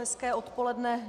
Hezké odpoledne.